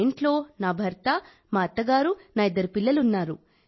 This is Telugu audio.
మా ఇంట్లో నా భర్త మా అత్తగారు నా ఇద్దరు పిల్లలు ఉన్నారు